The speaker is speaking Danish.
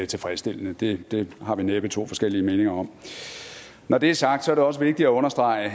tilfredsstillende det det har vi næppe to forskellige meninger om når det er sagt er det også vigtigt at understrege